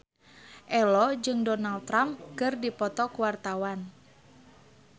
Ello jeung Donald Trump keur dipoto ku wartawan